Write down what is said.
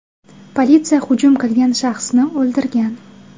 Politsiya hujum qilgan shaxsni o‘ldirgan.